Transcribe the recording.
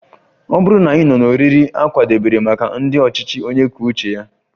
Ọ bụrụ na ị nọ n'oriri a kwadebere maka ndị ọchịchị onye kwuo uche ya